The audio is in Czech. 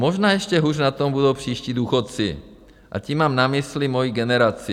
Možná ještě hůř na tom budou příští důchodci, a tím mám na mysli moji generaci.